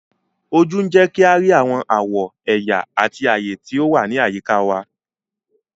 Ojú ń jẹ́ kí a rí àwọn àwọ̀, ẹ̀yà àti ayé tí ó wà ní àyíká wa.